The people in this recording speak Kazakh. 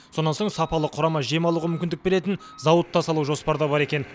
сонан соң сапалы құрама жем алуға мүмкіндік беретін зауыт та салу жоспарда бар екен